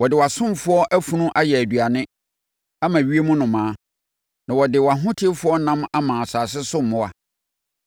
Wɔde wʼasomfoɔ afunu ayɛ aduane ama ewiem nnomaa, na wɔde wʼahotefoɔ ɛnam ama asase so mmoa.